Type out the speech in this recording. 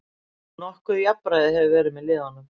Nokkuð jafnræði hefur verið með liðunum